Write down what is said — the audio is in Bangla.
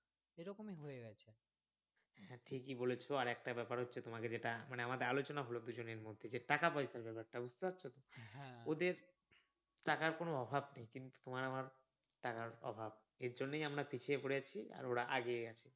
হ্যাঁ ঠিকই বলেছো আর একটা ব্যাপার হচ্ছে তোমাকে যেটা মানে আমাদের আলোচনা হল দুজনের মধ্যে যে টাকা পয়সার ব্যাপারটা বুঝতে পারছো তো ওদের টাকার কোনো অভাব নেই কিন্তু তোমার আমার টাকার অভাব এইজন্যেই আমরা পিছিয়ে পড়েছি আর ওরা এগিয়ে গেছে